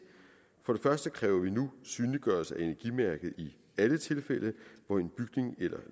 for første kræver vi nu synliggørelse af energimærket i alle tilfælde hvor en bygning eller